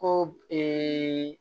Ko